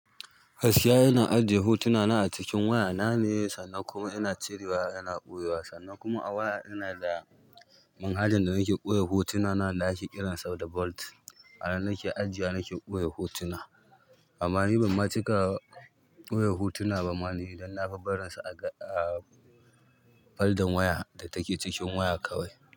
Gaskiya ina ajiye hotuna na acikin wayana ne sannan kuma ina cire wa ina ɓoyewa sannan kuma a waya ina da manhajan da nake ɓoye hotuna na wanda ake kiran sa da Vault. A nan nake ajiyewa, nake ɓoye hotuna amma ni ban ma cika ɓoye hotuna ba ma ni idan na fi barin su a faldan waya da take cikin waya kawai.